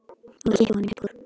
Og ég kippi honum upp úr.